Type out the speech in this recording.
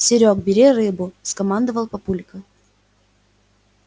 серёг бери рыбу скомандовал папулька